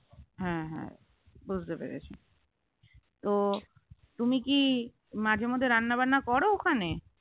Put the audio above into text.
হু হু বুঝতে পেরেছি তো তুমি কি মাঝে মধ্যে রান্নাবান্না করো ওখানে